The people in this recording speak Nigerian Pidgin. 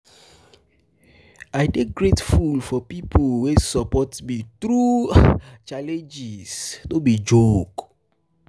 i dey grateful um for di pipo wey support me through um challenges no um be joke.